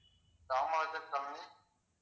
Kamarajar colony